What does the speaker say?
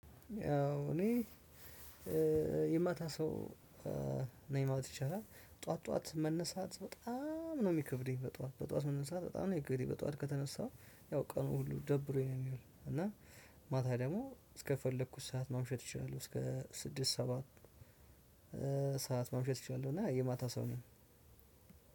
እኔ የማታ ሰው ነው የፕማለት ይቻላል። ጠዋት ጠዋት መነሳት በጣም ነው የሚከብደኝ በጧት በጧት መነሳት በጣም ነው የሚከብደኝ። በጧት ከተነሳው ያው ቀኑ ሁሉ ደብሮኝ ነው የሚሆነው። እና ማታ ደግሞ እስከፈለኩት ሰዓት ማምሸት እችላለሁ። እስከ ስድስት ሰባት ሰዓት ማምሸት እችላለሁ። እና የማታ ሰው ነኝ።